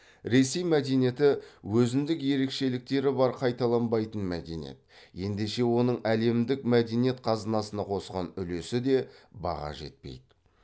ресей мәдениеті өзіндік ерекшеліктері бар қайталанбайтын мәдениет ендеше оның әлемдік мәдениет қазынысына қосқан үлесі де баға жетпейді